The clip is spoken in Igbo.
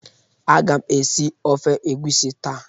Agam esi ofe egusi ta